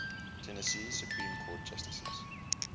tennessee supreme court justices